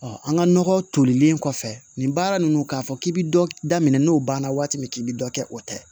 an ka nɔgɔ tolilen kɔfɛ nin baara ninnu k'a fɔ k'i bɛ dɔ daminɛ n'o banna waati min k'i bɛ dɔ kɛ o tɛ